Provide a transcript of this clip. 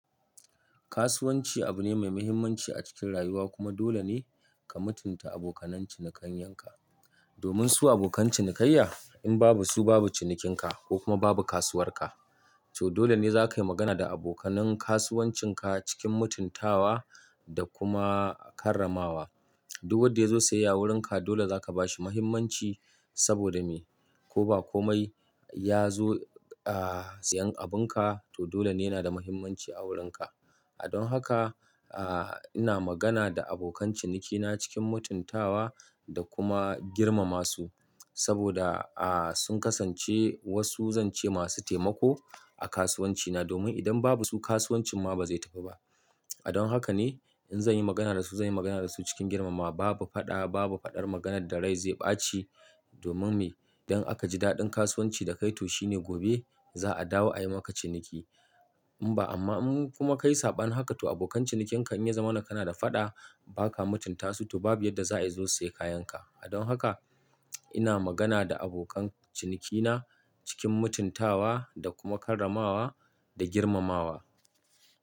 Kasuwanci abu ne mai muhimmanci a cikin rayuwa kuma dole ne ka mutunta abokan cinikayanka. Domin su abokan cinikayya, in babu su babu cinikinka ko kuma babu kasuwarka. To dole ne za ka yi magana da abokanan kasuwancinka cikin mutuntawa da kuma karramawa. Duk wanda ya zo siyayya wurinka dole za ka ba shi muhimmanci saboda me? Ko ba komai ya zo, ah, siyan abunka to dole ne yana da muhimmanci a wurinka. A don haka, ah, ina magana da abokan cinikina cikin mutuntawa da kuma girmama su saboda, ah, sun kasance wasu zance masu taimako a kasuwancina domin idan babu su kasuwancin ma ba zai tafi ba. A don haka ne in zan yi magana da su, zan yi magana da su cikin girmamawa. Babu fada, babu faɗar maganar da rai zai ɓaci domin me? Don aka ji daɗin kasuwanci da kai to shine gobe za a dawo a yi maka ciniki. In ba amma in kuma ka yi saɓanin haka to abokan cinikinka in ya zama na kana da faɗa ba ka mutunta su to babu yadda za a yi zo sayi kayanka. A don haka ina magana da abokan cinikina cikin mutuntawa da kuma karramawa da girmamawa.